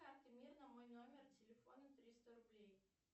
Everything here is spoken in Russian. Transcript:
на мой номер телефона триста рублей